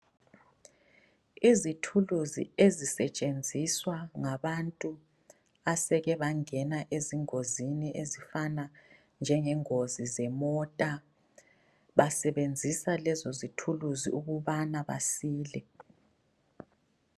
Izithulusi ezisetshenziswa ngabathu baseke bangena ezingozini ezifana njengengozi zemota. Basebenzisa lezo zithulusi ukubana basile.